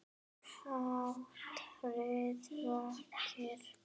Hatrið vakir.